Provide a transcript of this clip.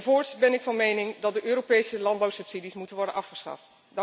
Voorts ben ik van mening dat de Europese landbouwsubsidies moeten worden afgeschaft.